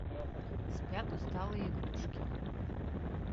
спят усталые игрушки